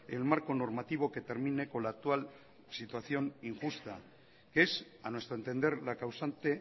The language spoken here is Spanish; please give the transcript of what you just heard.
el marco normativo que termine con la actual situación injusta que es a nuestro entender la causante